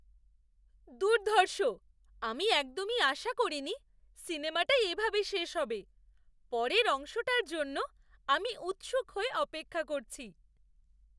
দুর্ধর্ষ! আমি একদমই আশা করিনি সিনেমাটা এভাবে শেষ হবে। পরের অংশটার জন্য আমি উৎসুক হয়ে অপেক্ষা করছি।